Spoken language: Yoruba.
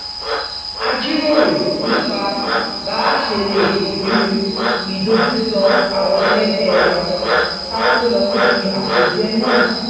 a jíròrò nípa bá a ṣe lè kojúu ìdojúso̩ àwo̩n e̩le̩gbé̩ wa ká tó lọ síbi àpèjẹ náà